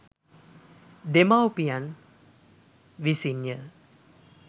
දෙමාපියන් විසින් ය.